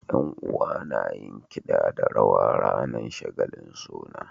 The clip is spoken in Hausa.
Yan uwa nayin kida da rawa ranar shagalin suna